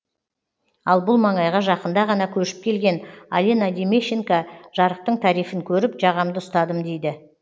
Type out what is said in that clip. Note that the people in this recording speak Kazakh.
ал бұл маңайға жақында ғана көшіп келген алина демещенко жарықтың тарифін көріп жағамды ұстадым дейді